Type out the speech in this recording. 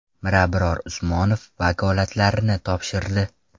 Mirabror Usmonov vakolatlarini topshirdi.